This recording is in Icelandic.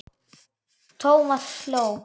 Thomas hló.